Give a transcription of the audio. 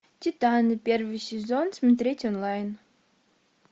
титаны первый сезон смотреть онлайн